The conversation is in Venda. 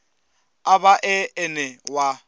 a vha e ene wa